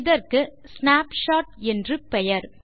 இதற்கு ஸ்னாப்ஷாட் என்று பெயர்